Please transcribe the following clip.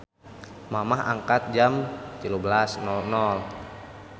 Mamah angkat jam 13.00